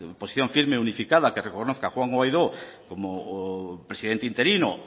posición firme unificada que reconozca a juan guaidó como presidente interino